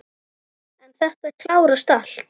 En þetta klárast allt.